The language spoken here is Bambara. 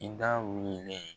I da wulilen